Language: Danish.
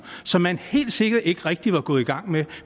som man helt sikkert ikke rigtig var gået i gang med